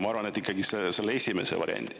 Ma arvan, et ikkagi selle esimese variandi.